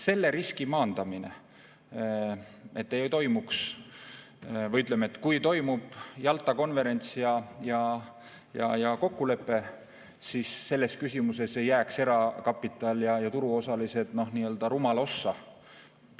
Selle riski maandamine, et, ütleme, kui toimub Jalta konverents ja kokkulepe, siis selles küsimuses ei jääks erakapital ja turuosalised rumala ossa.